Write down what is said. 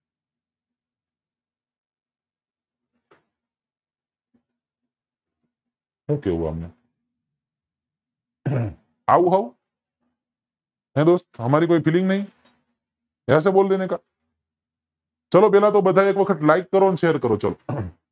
હું કેવું આમને અમ આવું હાવ હે દોસ્ત અમારી કોઈ FEELING નય એસે બોલ દેને કા ચાલો પેલા તો બધા એક વખત LIKE કરો ને SHARE કરો ચાલો